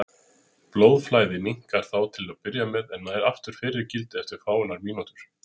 Blóðflæðið minnkar þá til að byrja með en nær aftur fyrra gildi eftir fáeinar mínútur.